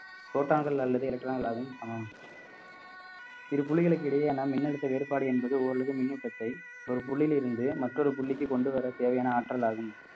proton கள் அல்லது electron கள் சமம் இரு புள்ளிகளுக்கு இடையே மின்னழுத்த வேறுபாடு என்பது ஓரளவுக்கு மின்னூற்றத்தை ஒரு புள்ளியில் இருந்து மற்றொரு புள்ளிக்கு கொண்டு வர தேவையான ஆற்றல் ஆகும்